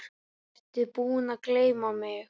Ertu búinn að gleyma mig?